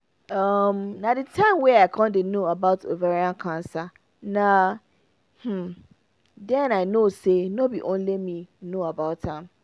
um na the time wey i con dey no about ovarian cancer na dey i know say no be only me no know about am